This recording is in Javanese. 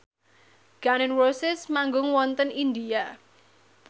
Gun n Roses manggung wonten India